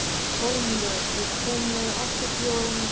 Kormlöð, ég kom með áttatíu og eina húfur!